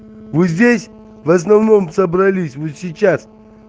мы здесь в основном собрались мы сейчас